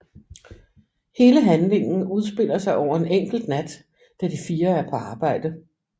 Hele handlingen udspiller sig over en enkelt nat da de fire er på arbejde